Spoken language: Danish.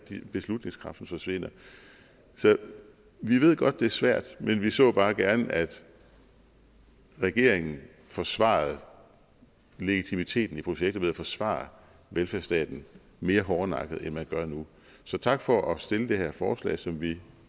beslutningskraften forsvinder så vi ved godt det er svært men vi så bare gerne at regeringen forsvarede legitimiteten i projektet ved at forsvare velfærdsstaten mere hårdnakket end man gør nu så tak for at stille det her forslag som vi